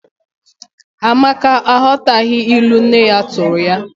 Amaka aghọtaghị ilu nne ya tụụrụ ya.